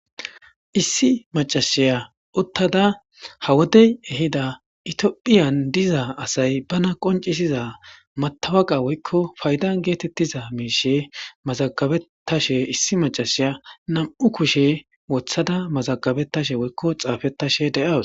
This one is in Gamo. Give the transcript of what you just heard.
Issi macashiya uttada ha wodey ehida itiophiyan diza asay bana qoncisiza matawaqa woykko faydan geetettiza miishe mazagabetashe issi macashiya nam7u kushe wothada mazagabettashe woykko xaafettashe de7awus.